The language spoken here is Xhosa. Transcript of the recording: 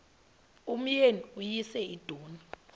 umyeni uyise iduna